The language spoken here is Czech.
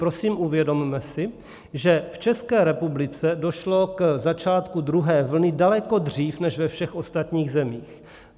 Prosím, uvědomme si, že v České republice došlo k začátku druhé vlny daleko dřív než ve všech ostatních zemích.